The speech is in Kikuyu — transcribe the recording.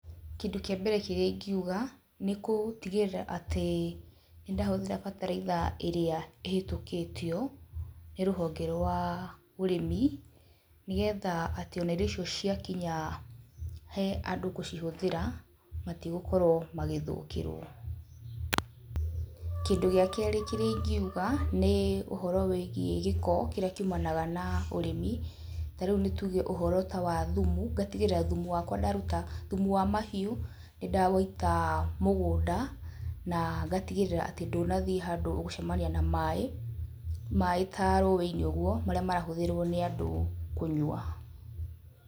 Kĩndũ kĩa mbere kĩrĩa ingiuga, nĩ gũtigĩrĩra atĩ nĩ ndahũthĩra bataraitha ĩrĩa ĩhetũkĩtio nĩ rũhonge rwa ũrĩmi, nĩgetha atĩ ona irio icio ciakinya he andũ gũcihũthĩra, matigũkorwo magĩthũkĩrwo, kĩndũ gĩa kerĩ kĩrĩa ingiuga, nĩ ũhoro wĩgiĩ gĩko kĩrĩa kiumanaga na ũrĩmi, tarĩu nĩ tuge ũhoro ta wathumu, ngatigĩrĩra thũmũ wakwa ndaruta thumu wa mahiũ, nĩ ndawĩita mũgũnda, na ngatigĩrĩra atĩ ndũnathiĩ handũ ũgũcemania na maĩ, maĩ ta rũĩ-inĩ ũguo, marĩa marahũthĩrwo nĩ andũ kũnywa.